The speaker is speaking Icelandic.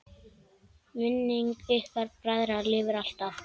Minning ykkar bræðra lifir alltaf!